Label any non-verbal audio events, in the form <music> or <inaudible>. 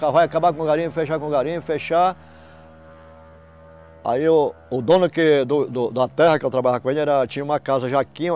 Vai acabar com o garimpo, fechar com o garimpo, fechar... Aí o o dono que do do da terra que eu trabalhava com ele era tinha uma casa já <unintelligible>